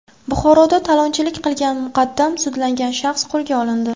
Buxoroda talonchilik qilgan muqaddam sudlangan shaxs qo‘lga olindi.